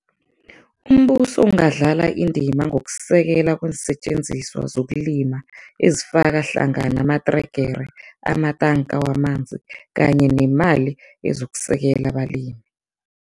Umbuso ungadlala indima ngokusekela kweensetjenziswa zokulima ezifaka hlangana amatregere, amatanka wamanzi kanye nemali ezokusekela abalimi.